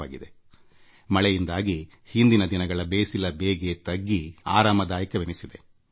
ಮಳೆಯಾಗುತ್ತಿರುವ ಕಾರಣ ಕುಳಿರ್ಗಾಳಿ ಬೀಸುತ್ತಿದ್ದು ಕೆಲವು ದಿನಗಳ ಹಿಂದಿನ ಬಿಸಿಲ ಬೇಗೆ ತಗ್ಗಿ ಆಹ್ಲಾದಕರವೆನಿಸಿದೆ